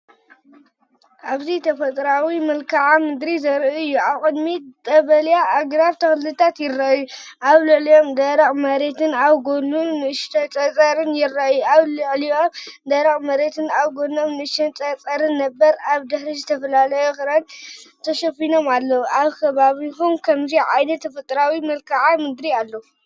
እብዚ ተፈጥሮኣዊ መልክዓ ምድሪ ዘርኢ እዩ። ኣብ ቅድሚት ቀጠልያ ኣግራብን ተኽልታትን ይረኣዩ፤ ኣብ ልዕሊኦም ደረቕ መሬትን ኣብ ጎድኑ ንእሽቶ ጸጸርን ነበረ። ኣብ ድሕሪት ዝተፈላለዩ ኣኽራናት ተሸፊኖም ኣለዉ። ኣብ ከባቢኩም ከምዚ ዓይነት ተፈጥሮኣዊ መልክዓ ምድሪ ኣሎ?